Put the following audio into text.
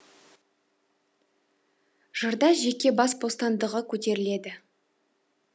жырда жеке бас бостандығы көтеріледі